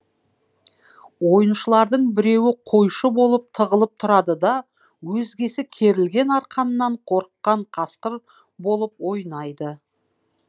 ойыншылардың біреуі қойшы болып тығылып тұрады да өзгесі керілген арқаннан қорыққан қасқыр болып ойнайды